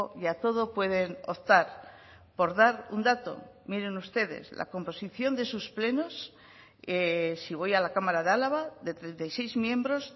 y a todo pueden optar por dar un dato miren ustedes la composición de sus plenos si voy a la cámara de álava de treinta y seis miembros